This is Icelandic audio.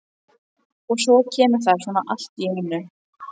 Og svo kemur það svona allt í einu.